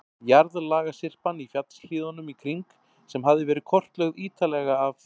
Jarðlagasyrpan í fjallshlíðunum í kring, sem hafði verið kortlögð ítarlega af